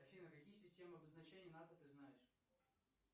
афина какие системы обозначения нато ты знаешь